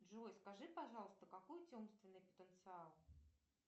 джой скажи пожалуйста какой у тебя умственный потенциал